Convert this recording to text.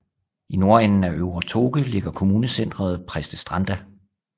I nordenden af øvre Toke ligger kommunecenteret Prestestranda